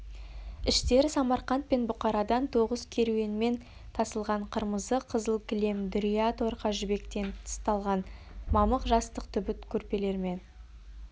іштері самарқант пен бұқарадан тоғыз керуенмен тасылған қырмызы қызыл кілем дүрия торқа жібектен тысталған мамық жастық түбіт көрпелермен